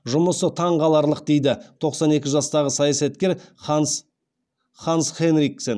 жұмысы таңқаларлық дейді тоқсан екі жастағы саясаткер ханс хенриксен